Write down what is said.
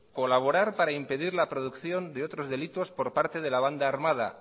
colaborar par impedir la producción de otros de delitos por parte de la banda armada